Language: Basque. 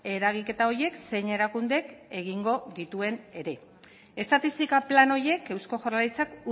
eragiketa horiek zein erakundek egingo dituen ere estatistika plan horiek eusko jaurlaritzak